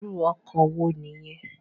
Irù òkò wó ni yèn?